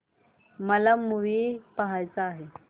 मला मूवी पहायचा आहे